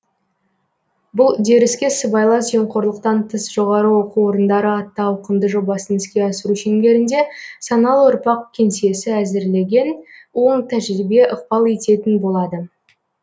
бұл үдеріске сыбайлас жемқорлықтан тыс жоғары оқу орындары атты ауқымды жобасын іске асыру шеңберінде саналы ұрпақ кеңсесі әзірлеген оң тәжірибе ықпал ететін болады